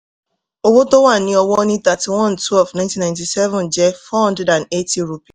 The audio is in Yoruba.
owó tó wà ní ọwọ́ ní thirty-one twelve nineteen ninety-seven jẹ́ four hundred and eighty